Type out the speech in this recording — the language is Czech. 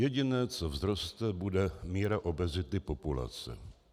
Jediné, co vzroste, bude míra obezity populace.